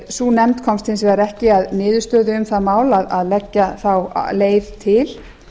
sú nefnd komst hins vegar ekki að niðurstöðu um það mál að leggja þá leið til